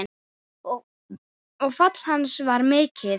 Og fall hans var mikið.